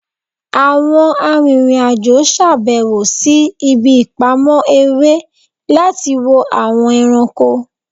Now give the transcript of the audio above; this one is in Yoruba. Awọn aririn ajo ṣabẹwo si ibi ipamọ ere lati wo awọn ẹranko